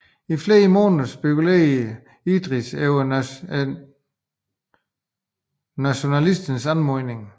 I flere måneder spekulerede Idris over nationalisternes anmodning